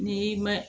N'i ma